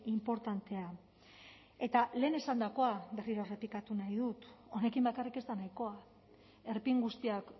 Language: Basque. inportantea eta lehen esandakoa berriro errepikatu nahi dut honekin bakarrik ez da nahikoa erpin guztiak